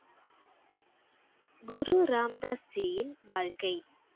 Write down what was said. குரு ராம் தாஸ் ஜியின் வாழ்க்கை